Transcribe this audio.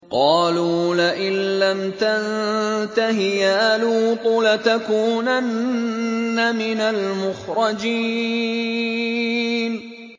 قَالُوا لَئِن لَّمْ تَنتَهِ يَا لُوطُ لَتَكُونَنَّ مِنَ الْمُخْرَجِينَ